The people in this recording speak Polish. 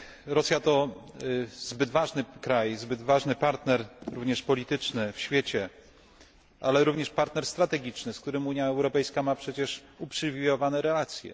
Rosja to zbyt ważny kraj, zbyt ważny partner, również polityczny, w świecie, ale również partner strategiczny, z którym Unia Europejska ma przecież uprzywilejowane relacje.